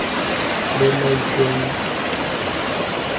mo maitekong a rona a